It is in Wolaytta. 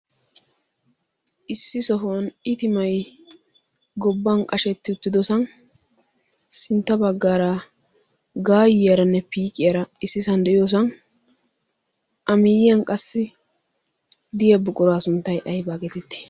issi sohuwan itimay gobban qashetti uttidosan sintta baggaara gaayiyaranne piiqiyara issisan de'iyoosan A miyyiyan qassi de'iya buquraa sunttay ayba geetettii?